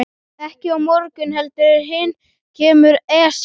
Ekki á morgun heldur hinn kemur Esjan.